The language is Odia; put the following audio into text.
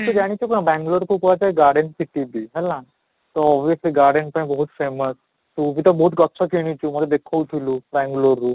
ତ ଜାଣିଥିବ ନା ବାଙ୍ଗାଲୁର ସେ garden ଚିକିଡି ହେଲା, ତ obviously garden ପାଇଁ ବହୁତ famous ତୁ ବି ତ ବହୁତ ଗଛ କିଣିଛୁ ମୋତେ ଦେଖଉ ଥିଲୁ ବାଙ୍ଗାଲୁରରୁ